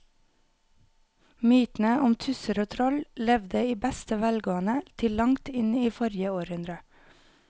Mytene om tusser og troll levde i beste velgående til langt inn i forrige århundre.